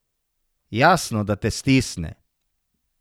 Jasno, da te stisne.